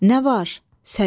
Nə var, Səlim?